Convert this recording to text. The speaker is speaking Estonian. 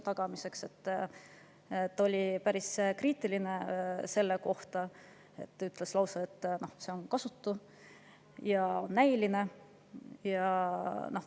Ta oli selle suhtes päris kriitiline, ütles lausa, et see on kasutu ja näiline.